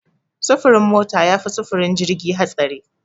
Sufurin mota yafi sufurin jirgi hatsari.